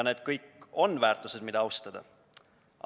Need kõik on väärtused, mida austada.